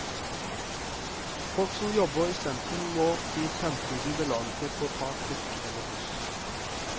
Folk som jobber i sentrum, må i fremtiden belage seg på å ta trikk eller buss.